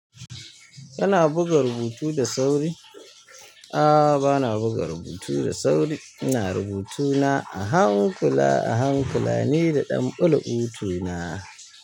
Kana buga rubutu da sauri? A'a bana buga rubutu da sauri, ina rubutuna a hankula a hankula nida ɗan ƙulluɓu tuna.